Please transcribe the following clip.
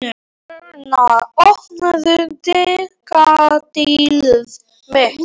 Erna, opnaðu dagatalið mitt.